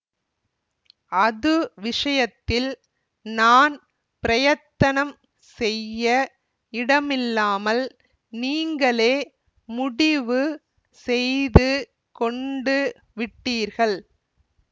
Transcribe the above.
அது விஷயத்தில் நான் பிரயத்தனம் செய்ய இடமில்லாமல் நீங்களே முடிவு செய்து கொண்டு விட்டீர்கள்